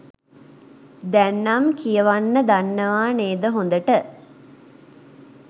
දැන් නම් කියවන්න දන්නවා නේද හොඳට.